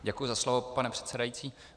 Děkuji za slovo, pane předsedající.